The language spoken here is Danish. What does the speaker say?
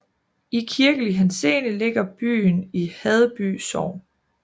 I kirkelig henseende ligger byen i Haddeby Sogn